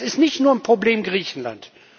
ist. Das ist nicht nur ein Problem Griechenlands.